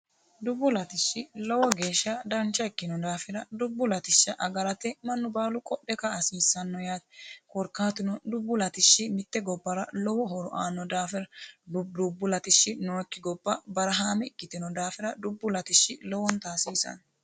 Dubbu latishshi lowo geeshsha dancha ikkino daafira dubbu latishsha agarate mannu baalu qodhe ka"a hasiisano yaate korkaatuno dubbu latishshi mite gobbara lowo horo aano daafira dubbu latishshi nooyikki gobba barahame ikkiteno daafira dubbu latishshi lowonta hasiisano.